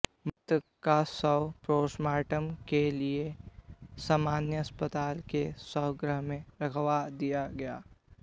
मृतक का शव पोस्टमार्टम के लिए सामान्य अस्पताल के शवगृह में रखवा दिया गया